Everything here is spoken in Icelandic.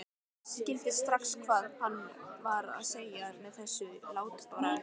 Skildi strax hvað hann var að segja með þessu látbragði.